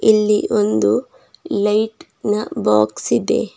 ಇಲ್ಲಿ ಒಂದು ಲೈಟ್ ನ ಬಾಕ್ಸ್ ಇದೆ.